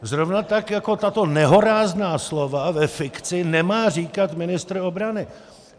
Zrovna tak jako tato nehorázná slova ve fikci nemá říkat ministr obrany.